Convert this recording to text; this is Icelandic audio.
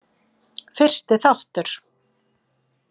Fyrsti þáttur